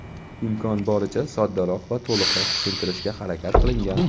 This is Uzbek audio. imkon boricha soddaroq va to‘liqroq tushuntirishga harakat qilingan.